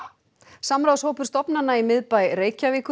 samráðshópur stofnana í miðbæ Reykjavíkur